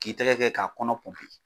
K'i tɛgɛ kɛ k'a kɔnɔ